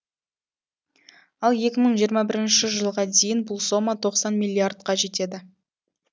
ал екі мың жиырма бірінші жылға дейін бұл сома тоқсан миллиардқа жетеді